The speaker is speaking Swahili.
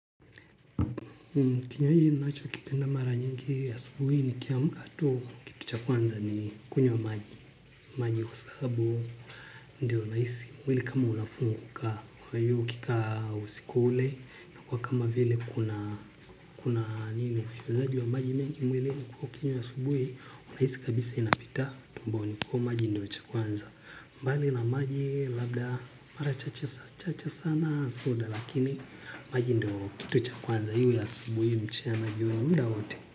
Kinyo hii nacho kipenda mara nyingi asubui nikiamka tu kitu cha kwanza ni kunywa maji. Maji wa sabu ndio naisi mwili kama ulafungu kuka yu kika usikule na kwa kama vile kuna nini ufyonzaji wa maji mengi mwilini ukinywa asubui. Unaisi kabisa inapita tumbo nikuwa maji ndio cha kwanza. Mbali na maji labda mara chache sana soda lakini maji ndio kitu cha kwanza iwe asubuhi mchana jioni mda wowote.